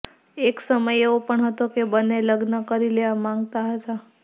એક સમય એવો પણ હતો કે બંને લગ્ન કરી લેવા માંગતા હતાં